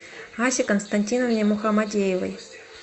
асе константиновне мухамадеевой